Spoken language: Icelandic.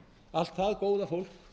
allt það góða fólk